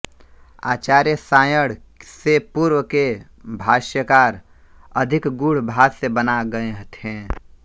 आचार्य सायण से पूर्व के भाष्यकार अधिक गूढ़ भाष्य बना गए थे